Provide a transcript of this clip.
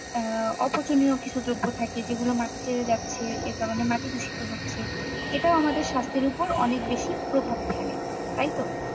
আহ অপচনীয় কিছু দ্রব্য থাকে যেগুলো মাটিতে যাচ্ছে যে কারনে মাটি দুষিত হচ্ছে এটাও আমাদের স্বাস্থ্যের ওপর অনেক বেশি প্রভাব ফেলে। তাইতো?